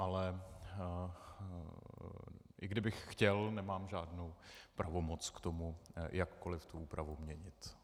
Ale i kdybych chtěl, nemám žádnou pravomoc k tomu jakkoliv tu úpravu měnit.